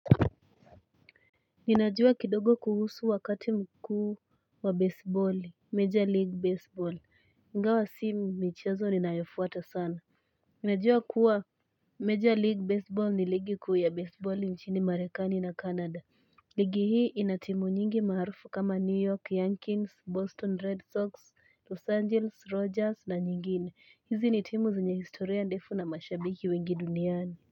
Ninajua kidogo kuhusu wakati mkuu wa baseball, major league baseball, ingawa si michezo ninayofuata sana Ninajua kuwa major league baseball ni ligi kuu ya baseball mchini marekani na Canada ligi hii inatimu nyingi maharufu kama New York, Yankins, Boston, Red Sox, Los Angeles, Rogers na nyingine, hizi ni timu zenye historia ndefu na mashabiki wengi duniani.